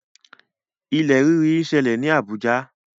Ilẹ̀ rírì ṣì ń ṣẹlẹ̀ ní Abuja.